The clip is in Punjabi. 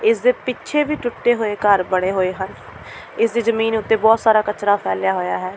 ਇਸ ਦੇ ਪਿੱਛੇ ਵੀ ਟੁੱਟੇ ਹੋਏ ਘਰ ਬਣੇ ਹੋਏ ਹਨ ਇਸ ਦੀ ਜ਼ਮੀਨ ਉੱਤੇ ਬਹੁਤ ਸਾਰਾ ਕਚਰਾ ਫੈਲਿਆ ਹੋਇਆ ਹੈ।